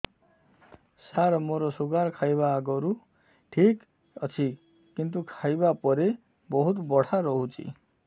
ସାର ମୋର ଶୁଗାର ଖାଇବା ଆଗରୁ ଠିକ ଅଛି କିନ୍ତୁ ଖାଇବା ପରେ ବହୁତ ବଢ଼ା ରହୁଛି